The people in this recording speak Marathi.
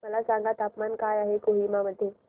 मला सांगा तापमान काय आहे कोहिमा मध्ये